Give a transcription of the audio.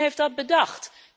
Wie heeft dat bedacht?